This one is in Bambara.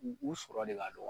U u sɔrɔ de ka dɔgɔ